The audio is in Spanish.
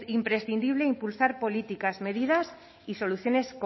imprescindible impulsar políticas medidas y